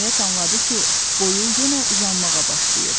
Nəhayət anladı ki, boyu yenə uzanmağa başlayıb.